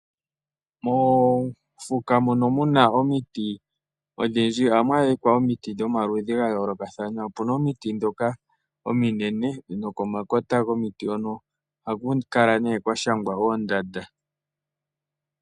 Moofuka mono muna omiti odhindji ohamu adhika omiti dhomaludhi gayoolokathana. Opuna omiti ominene nokomakota gomiti hoka ohaku kala kwashangwa oondanda.